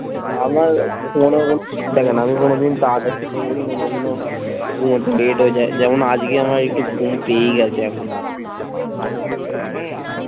আমার ঘুমানোর কোনো থাকে না আমি কোনো দিন তাড়াতাড়ি কোনোদিনও ঘুমাতে late হয়ে যায় যেমন আজকে আমার একটু ঘুম পেয়েই গেছে এখন। হম